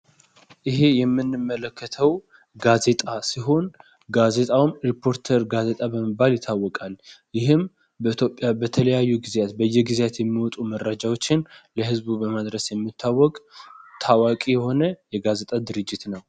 ይሄ የምንመለስተው ጋዜጣ ሲሆን ጋዜጣውም ሪፖርተር ጋዜጣ በመባል ይታወቃል። ይህም በኢትዮጵያ በተለያዩ ጊዜያት በየጊዜያት የሚወጡ መረጃዎች ለህዝብ በማድ የሚታወቅ ታዋቂ የሆነ የጋዜጣ ድርጅት ነው።